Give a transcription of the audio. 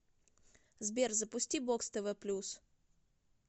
сбер запусти бокс тв плюс